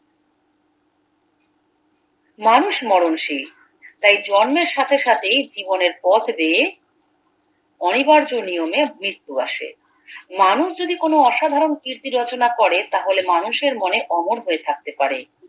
মানুষ মরণশীল তাই জন্মের সাথে সাথেই জীবনের পথ দিয়ে অনিবার্য নিয়মে মৃত্যু আসে মানুষ যদি কোনো অসাধারণ কীর্তি রচনা করে তাহলে মানুষের মনে অমর হয়ে থাকতে পারে